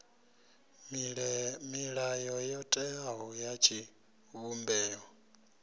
milayo yo teaho ya tshivhumbeo